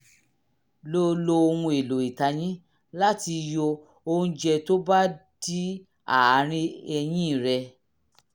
lo lo ohun-èlò ìtayín láti yọ oúnjẹ tó bá dí àárín eyín rẹ